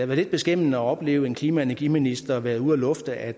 lidt beskæmmende at opleve en klima og energiminister være ude at lufte at